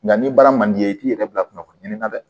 Nka ni baara man di i ye i t'i yɛrɛ bila kunnafoniya na dɛ